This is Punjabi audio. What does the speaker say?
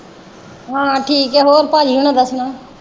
ਹਾਂ ਠੀਕ ਏ ਹੋਰ ਭਾਜੀ ਹੁਣਾ ਦਾ ਸੁਣਾ।